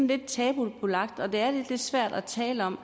lidt tabubelagt og det er lidt svært at tale om